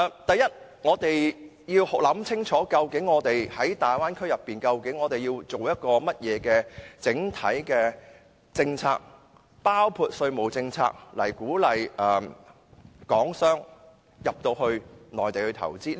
第一，我們就大灣區要制訂甚麼政策，包括稅務政策，鼓勵港商到內地投資。